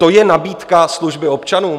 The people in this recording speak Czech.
To je nabídka služby občanům?